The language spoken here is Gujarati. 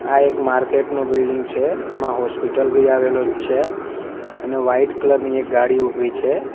આ એક માર્કેટ નું બિલ્ડીંગ છે એમાં હોસ્પિટલ બી આવેલો છે અને વાઈટ કલર ની એક ગાડી ઉભી છે.